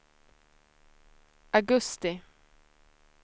augusti